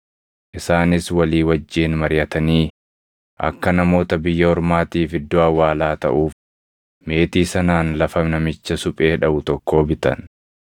Isaanis walii wajjin mariʼatanii akka namoota biyya ormaatiif iddoo awwaalaa taʼuuf meetii sanaan lafa namicha suphee dhaʼu tokkoo bitan.